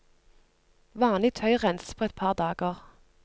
Vanlig tøy renses på et par dager.